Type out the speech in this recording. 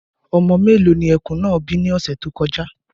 Ọmọ mélòó ni ẹkùn náà bí ní ọ̀sẹ̀ tó kọjá.